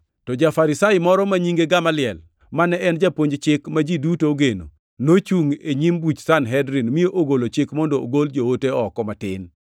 To ja-Farisai moro ma nyinge Gamaliel, mane en japuonj chik ma ji duto ogeno, nochungʼ e nyim buch Sanhedrin mi ogolo chik mondo ogol joote oko matin.